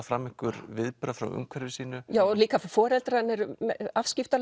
fram einhver viðbrögð frá umhverfi sínu líka foreldrar hennar eru